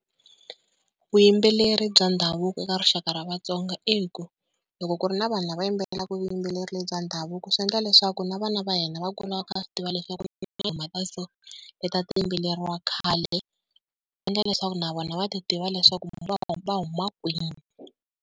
Vuyimbeleri bya ndhavuko eka rixaka ra Vatsonga i ku, loko ku ri na vanhu lava va yimbelelaka vuyimbeleri bya ndhavuko swi endla leswaku na vana va hina va kula va kha va swi tiva leswaku ku na tinghoma ta so leti a ti yimbeleriwa khale, ti endla leswaku na vona va ti tiva leswaku va huma kwihi.